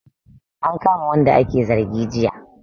An kama wanda ake zargi jiya